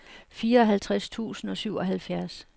fireoghalvtreds tusind og syvoghalvfjerds